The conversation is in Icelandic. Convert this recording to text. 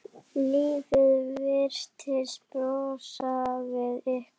Lífið virtist brosa við ykkur.